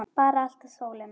Bara að elta sólina.